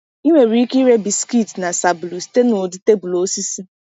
Ị nwere ike ire biskit na sabulu site n’ụdị tebụl osisi.